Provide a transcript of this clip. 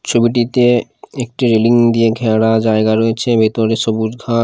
ছবিটিতে একটি রেলিং দিয়ে ঘেরা জায়গা রয়েছে ভেতরে সবুজ ঘা--